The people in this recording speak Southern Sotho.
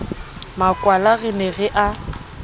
makwala re ne re a